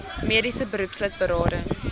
mediese beroepslid berading